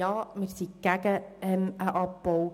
Wir sind gegen einen Abbau.